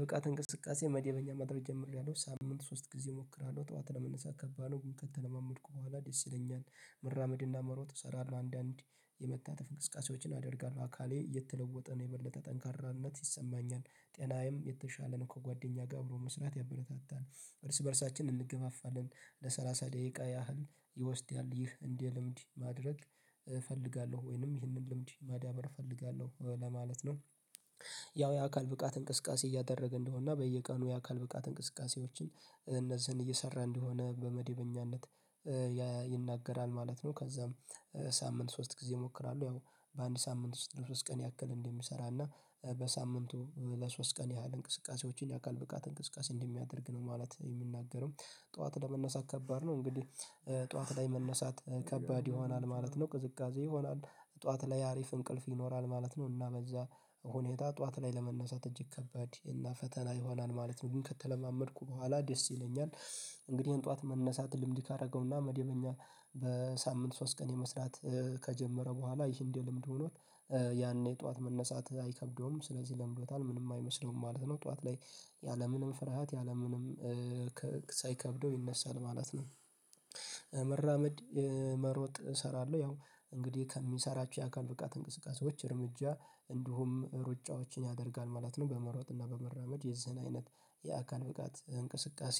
ብቃት እንቅስቃሴ መደበኛ ማድረግ ጀመሪያለው በሳምንት ሶስት ጊዜ እሞክራለሁ ጠዋት ለመነሳት ከባድ ነው ከተለማመድኩ በኋላ ደስ ይለኛል መራመድና መሮጥ እሰራለሁ አንዳንዴ የመታተ እንቅስቃሴዎችን አደርጋለሁ አካሌ እየተለወጠ ነው የበለጠ ጠንካራነት ይሰማኛል ጤናዬም የተሻለን ከጓደኛ ጋር አብሮ መስራት ያበረታታል እርስ በእርሳችን እንገፋፋለን ለሰላሳ ደቂቃ ያህል ይወስዳል ይህ እንደ ልምድ ማድረግ እፈልጋለሁ ወይንም ይህንን ልምድ ማዳበር እፈልጋለሁ ለማለት ነው። ያው የአካል ብቃት እንቅስቃሴ እያደረገ እንደሆነ እና በየቀኑ የአካል ብቃት እንቅስቃሴዎችን እነዚህን እየሰራ እንደሆነ በመደበኛነት ማለት ነው። ከዛም በሳምንት ሶስት ጊዜ እሞክራለሁ ያው በአንድ ሳምንት ውስጥ ለሶስት ቀን ያክል እንደሚሰራ እና በሳምንቱ ለሶስት ቀን ያህል እንቅስቃሴዎችን የአካል ብቃት እንቅስቃሴ እንደሚያደርግ ነው ማለት የምናደርገው። ጠዋት ለመነሳት ከባድ ነው እንግዲህ ጠዋት ላይ መነሳት ከባድ ይሆናል ማለት ነው ቅዝቃዜ ይሆናል ጠዋት ላይ አሪፍ እንቅልፍ ይኖራል ማለት ነው እና በዛ ሁኔታ ጠዋት ላይ ለመነሳት እጅግ ከባድ እና ፈተና ይሆናል ማለት ነው ግን ከተለማመድኩ በኋላ ደስ ይለኛል። እንግዲህ ያን ጠዋት መነሳት ልምድ ካደረገውና መደበኛ በሳምንት ሶስት ቀን የመስራት ከጀመረ በኋላ ይህም ልምድ ሆኖት ያኔ ጠዋት መነሳት አይከብደውም ስለዚህ ለምዶታል ምንም አይመስለውም ማለት ነው። ጧት ላይ ያለምንም ፍርሃት ያለ ምንም ሳይከብደው ይነሳል ማለት ነው። መራመድ መሮጥ እሰራለሁ ያው እንግዲህ ከምሰራችሁ የአካል ብቃት እንቅስቃሴዎች እርምጃ እንዲሁም ሩጫዎችን ያደርጋል ማለት ነው በመሯሯጥና በመራመድ የዚህን አይነት የአካል ብቃት እንቅስቃሴ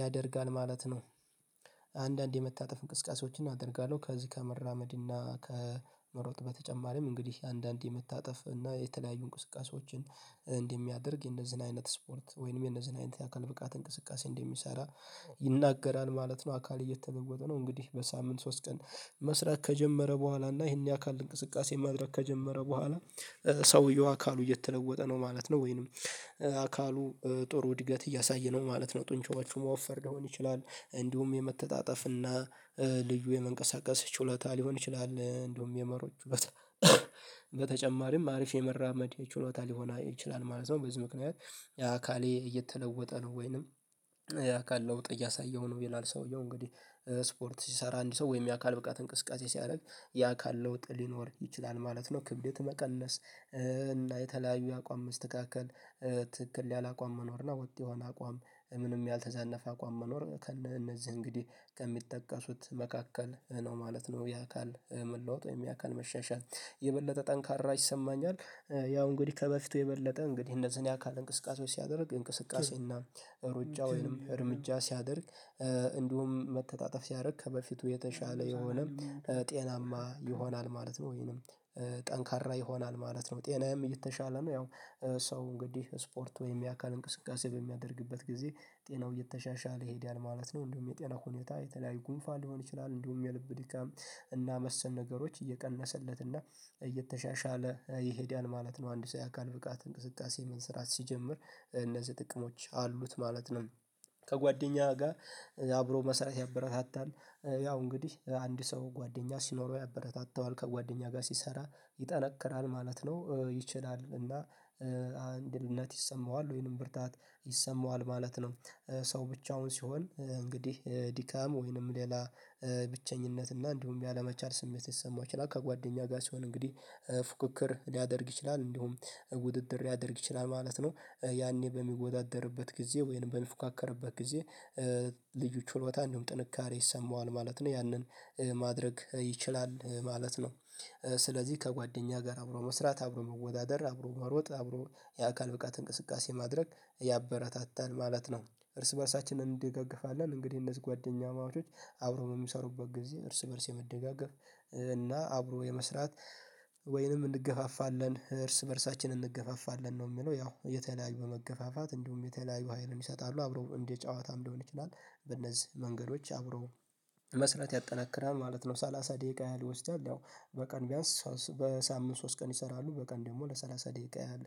ያደርጋል ማለት ነው። አንዳንድ የመታጠፍ እንቅስቃሴዎችን አደርጋለሁ ከዚህ ከመራመድ እና ከመሮጥ በተጨማሪም እንግዲህ አንዳንዴ የምታጠፍ እና የተለያዩ እንቅስቃሴዎችን እንደሚያደርግ የነዚህን አይነት ስፖርት ወይንም የነዚህን አይነት የአካል ብቃት እንቅስቃሴ እንደሚሰራ ይናገራል ማለት ነው። አካል እየተለወጠ ነው እንግዲህ በሳምንት ሶስት ቀን መስራት ከጀመረ በኋላ እና ይሄን የአካል እንቅስቃሴ ማድረግ ከጀመረ በኋላ ሰውየው አካሉ እየተለወጠ ነው ማለት ነው። ወይንም አካሉ ጥሩ እድገት እያሳየ ነው ማለት ነው ጡንቻዎቹ መወፈር ሊሆን ይችላል እንዲሁም የመተጣጠፍ እና ልዩ የመንቀሳቀስ ችሎታ ሊሆን ይችላል እንደውም የመሮጥ በተጨማሪም አሪፍ የመራመድ ችሎታ ሊሆን ይችላል ማለት ነው። በዚህ ምክንያት የአካሌ እየተለወጠ ነው ወይንም የአካል ለውጥ እያሳየሁ ነው ይላል ሰውየው እንግዲህ ስፖርት ሲሰራ አንድ ሰው ወይም የአካል ብቃት እንቅስቃሴ ሲያደርግ ያ አካል ለውጥ ሊኖር ይችላል ማለት ነው። ክብዴት መቀለስ እና የተለያዩ የአቋም መስተካከል ትክክል ያለ አቋም መኖር ነው ወጥ የሆነ አቋም ምንም ያልተዛነፈ አቋም መኖር እነዚህ እንግዲህ ከሚጠቀሱት መካከል ነው ማለት ነው የአካል የሚለወጠው ወይም የአካል መሻሻል የበለጠ ጠንካራ ይሰማኛል። ያው እንግዲህ ከበፊቱ የበለጠ እንግዲህ እነዚህን የአካል እንቅስቃሴዎች ሲያደርግ እንቅስቃሴ እና ሩጫ ወይንም እርምጃ ሳደደርግ እንዲሁም መተጣጠፍ ሳደርግ ከበፊቱ የተሻለ የሆነ ጤናማ ይሆናል ማለት ነው ወይንም ጠንካራ ይሆናል ማለት ነው። ጤናዬም እየተሻለ ነው ያው ሰው እንግዲህ ስፖርት ወይም የአካል እንቅስቃሴ በሚያደርግበት ጊዜ ጤናው እየተሻሻለ ይሄዳል ማለት ነው። እንደውም የጤና ሁኔታ የተለያዩ ጉንፋን ሊሆን ይችላል እንደውም የልብ ድካም እና መሰል ነገሮች እየቀነሰለት እና እየተሻሻለ ይሄዳል ማለት ነው አንድ ሰው የአካል ብቃት እንቅስቃሴ መስራት ሲጀምር እነዚህ ጥቅሞች አሉት ማለት ነው። ከጓደኛዋ ጋር አብሮ መስራት ያበረታታል ያው እንግዲህ አንድ ሰው ጓደኛ ሲኖረው ያበረታታዋል ከጓደኛ ጋር ሲሰራ ይጠነክራል ማለት ነው ይችላል እና አንድነት ይሰማዋል ወይንም ብርታት ይሰማዋል ማለት ነው። ሰው ብቻውን ሲሆን እንግዲህ ድካም ወይንም ሌላ ብቸኝነት እና እንደውም ያለመቻል ስሜት ሊሰማው ይችላል ከጓደኛ ጋር ሲሆን እንግዲህ ፉክክር ሊያደርግ ይችላል እንዲሁም ውድድር ሊያደርግ ይችላል ማለት ነው ያኔ በሚወዳደርበት ጊዜ ወይንም በሚፎካከርበት ጊዜ ልዩ ችሎታ እንዲሁም ጥንካሬ ይሰማዋል ማለት ነው። ያንን ማድረግ ይችላል ማለት ነው። ስለዚህ ከጓደኛ ጋር አብሮ መስራት አብሮ መወዳደር አብሮ መሮጥ አብሮ የአካል ብቃት እንቅስቃሴ ማድረግ ያበረታታል ማለት ነው። እርስ በእርሳችንን እንደጋገፋለን እንግዲህ እነዚህ ጓደኛማቾች አብረው የሚሰሩበት ጊዜ እርስ በእርስ የመደጋገፍ እና አብሮ የመስራት ወይንም እንገፋፋለን እርስ በእርሳችን እንገፋፋለን ነው የሚለው ያው የተለያዩ በመገፋፋት እንዲሁም የተለያዩ ሀይልን ይሰጣሉ አብረው እንዴት ጨዋታም ሊሆን ይችላል በእነዚህ መንገዶች አብረው መስራት ያጠናክራል ማለት ነው። ሰላሳ ደቂቃ ያህል ውስጥ ያለው በቀን ቢያንስ በሳምንት ሶስት ቀን ይሰራሉ በቀን ደግሞ ለሰላሳ ደቂቃ ያህል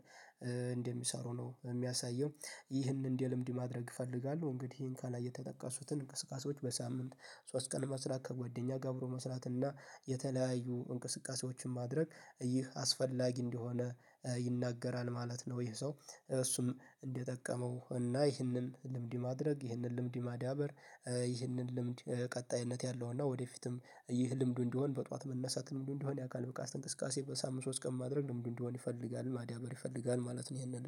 እንደሚሰሩ ነው የሚያሳየው። ይህንን እንደ ልምድ ማድረግ እፈልጋለሁ እንግዲህ ይሄን ካላየ የተጠቀሱትን እንቅስቃሴዎች በሳምንት ሶስት ቀን ለመስራት ከጓደኛ ጋ አብሮ መስራት እና የተለያዩ እንቅስቃሴዎችን ማድረግ ይህ አስፈላጊ እንዲሆነ ይናገራል ማለት ነው። ይሄ ሰው እርሱም እንዲጠቀመው እና ይህንን ልምድ ማድረግ ይህንን ልምድ ማዳበር ይህንን ልምድ ቀጣይነት ያለው እና ወደፊትም ይህ ልምዱ እንዲሆን በጧት መነሳት ልምዱ እንደሆን ያውቃል በቃ እንቅስቃሴ በሳምምንት ሶስት ቀን ማድረግ ለምንድነው እንዲሆን ይፈልጋል ማደብር ይፈልጋል ማለት ነው። ይሄንን